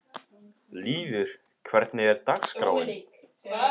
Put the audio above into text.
Lýður, hvernig er dagskráin?